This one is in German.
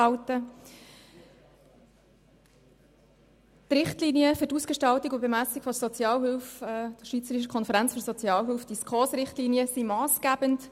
Die Richtlinien für die Ausgestaltung und Bemessung der Sozialhilfe der Schweizerischen Konferenz für Sozialhilfe, die SKOS-Richtlinien, sind massgebend.